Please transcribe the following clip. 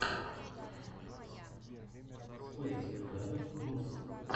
спэйспредатор рус